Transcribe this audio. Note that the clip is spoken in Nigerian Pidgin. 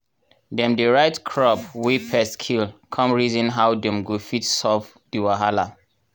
dem dey write crop wey pests kill come reason how dem go fit solve di wahala.